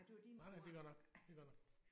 Nej nej det er godt nok det er godt nok